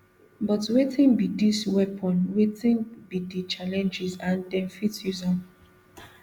but wetin be dis weapon wetin be di challenges and dem fit use am